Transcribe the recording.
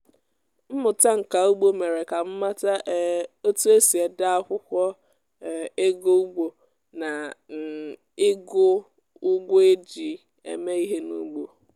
mmụta nka ugbo mere ka m mata um otu esi ede akwụkwọ um ego ugbo na um ịgụ ụgwọ e e ji eme ihe n’ugbo